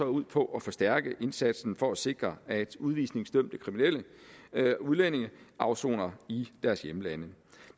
ud på at forstærke indsatsen for at sikre at udvisningsdømte kriminelle udlændinge afsoner i deres hjemlande